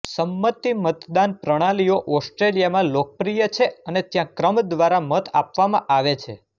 સંમતિ મતદાન પ્રણાલીઓ ઓસ્ટ્રેલિયામાં લોકપ્રિય છે અને ત્યાં ક્રમ દ્વારા મત આપવામાં આવે છે